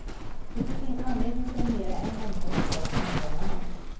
Det finns ingen anledning att premiera en omsorgsform och inte en annan.